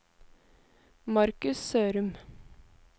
Markus Sørum